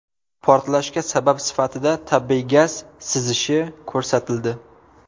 Portlashga sabab sifatida tabiiy gaz sizishi ko‘rsatildi.